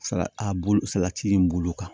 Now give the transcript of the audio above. Sala a bulu salati bulu kan